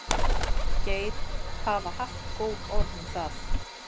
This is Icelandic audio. Geir Hafa haft góð orð um það.